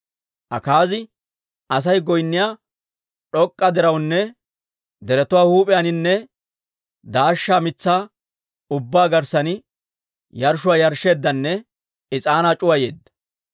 Akaazi Asay goynniyaa d'ok'k'a dirawunne, deretuwaa huup'iyaaninne daashsha mitsaa ubbaa garssan yarshshuwaa yarshsheeddanne is'aanaa c'uwayeedda.